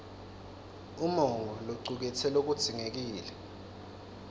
umongo locuketse lokudzingekile